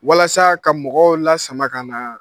Walasa ka mɔgɔw lasama ka na